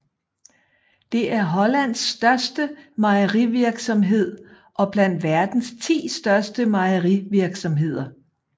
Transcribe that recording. Det er Hollands største mejerivirksomhed og blandt verdens 10 største mejerivirksomheder